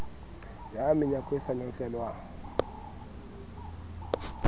ka menyako e sa notlelwang